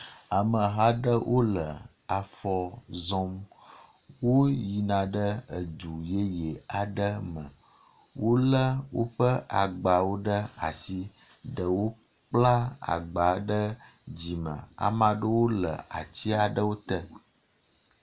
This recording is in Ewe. Ameha aɖe wo le afɔ zɔm. Woyina ɖe edu yeye aɖe me. Wo le woƒe agbawo ɖe asi ɖewo kpla agba ɖe dzime ame aɖewo le atsi aɖewo te.